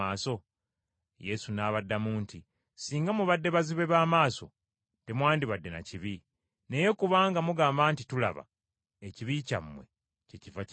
Yesu n’abaddamu nti, “Singa mubadde bazibe ba maaso, temwandibadde na kibi. Naye kubanga mugamba nti tulaba, ekibi kyammwe kyekiva kibasigalako.”